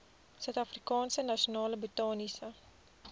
suidafrikaanse nasionale botaniese